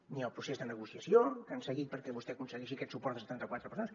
ni el procés de negociació que han seguit perquè vostè aconsegueixi aquest suport de setanta quatre persones